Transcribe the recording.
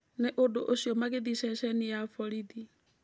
Nĩ ũndũ ũcio magĩthiĩ ceceni-inĩ ya borithi.